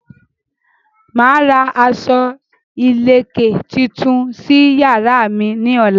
Màá ra aṣọ ìléke tuntun sí yàrá mi ní ọ̀la.